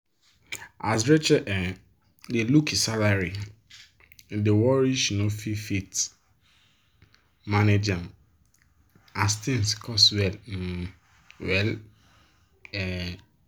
as rachel um dey look e salary e dey worry she no fit fit manage ahm as thing cost well um well. um